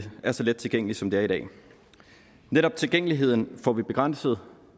er så let tilgængeligt som det er i dag netop tilgængeligheden får vi begrænset